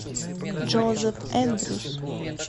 джозеф эндрюс